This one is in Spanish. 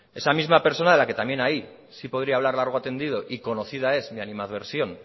esa misma persona en la que también ahí sí podría hablar largo y tendido y conocida es mí animadversión